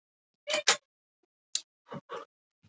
Klettarnir voru kolsvartir eins og tröllkarlar.